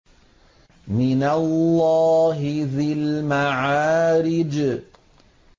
مِّنَ اللَّهِ ذِي الْمَعَارِجِ